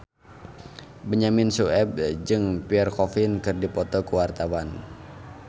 Benyamin Sueb jeung Pierre Coffin keur dipoto ku wartawan